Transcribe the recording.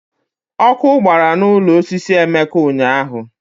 Ọkụ gbara n'ụlọ osisi Emeka ụnyahụ.